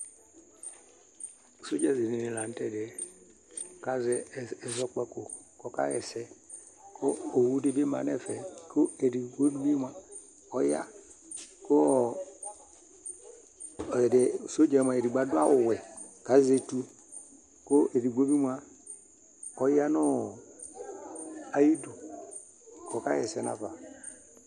Sɔdzaɖini lanutɛɖiɛ azɛ ɛzɔkpako k'ɔka ɣaa ɛsɛ, kʋ owuɖibi ma n'ɛfɛ kʋ ɛɖigboɖibi mua ɔyaa kʋɔɔ sɔdzaɛ moa eɖigbo aɖʋ awu wuɛ, k'azɛtʋ, kʋ eɖigbobi moa ɔyaa nʋɔɔ iyiɖʋk'ɔka ɣɛsɛ n'afa